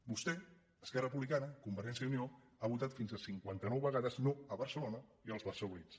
vostè esquerra republicana con·vergència i unió han votat fins a cinquanta·nou vega·des no a barcelona i als barcelonins